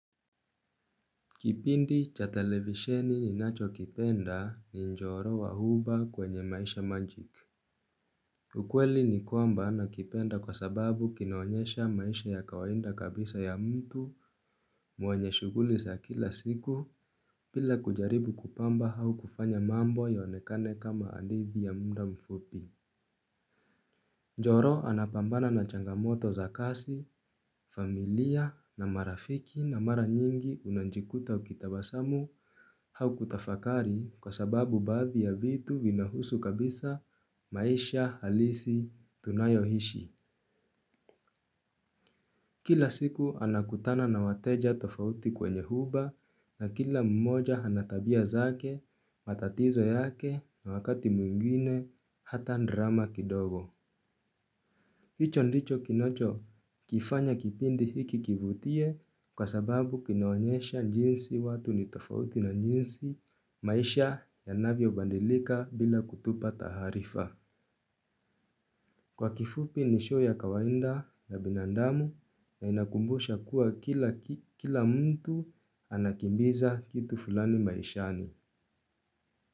Kipindi cha televisheni ni nacho kipenda ni njoro wahuba kwenye maisha magic. Ukweli ni kwamba nakipenda kwa sababu kinaonyesha maisha ya kawahinda kabisa ya mtu mwenye shuguli za kila siku pila kujaribu kupamba hau kufanya mambo yaonekane kama hadithi ya mda mfupi. Joro anapambana na changamoto za kasi, familia, na marafiki na mara nyingi unanjikuta ukitabasamu haukutafakari kwa sababu baadhi ya vitu vinahusu kabisa, maisha, halisi, tunayo hishi. Kila siku anakutana na wateja tofauti kwenye huba na kila mmoja anatabia zake matatizo yake na wakati mwingine hata drama kidogo. Hicho ndicho kinacho kifanya kipindi hiki kivutie kwa sababu kinaonyesha njinsi watu nitofauti na njinsi maisha ya navyo bandilika bila kutupa taharifa. Kwa kifupi nishow ya kawainda ya binandamu na inakumbusha kuwa kila mtu anakimbiza kitu fulani maishani.